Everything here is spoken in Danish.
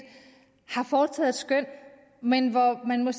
har foretaget et skøn men hvor man kan